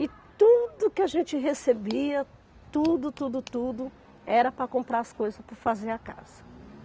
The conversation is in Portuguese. E tudo que a gente recebia, tudo, tudo, tudo, era para comprar as coisas, para fazer a casa.